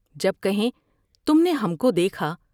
جب کہیں تم نے ہم کو دیکھا ۔